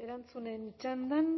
erantzunen txandan